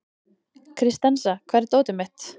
Kristensa, hvar er dótið mitt?